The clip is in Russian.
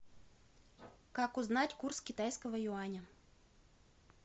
как узнать курс китайского юаня